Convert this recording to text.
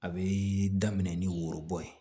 A bɛ daminɛ ni worobo ye